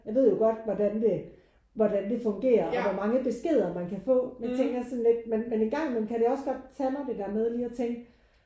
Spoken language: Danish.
Jeg ved jo godt hvordan det hvordan det fungerer og hvor mange beskeder man kan få. Men jeg tænker sådan lidt men engang imellem kan det også godt tage mig det der med lige at tænke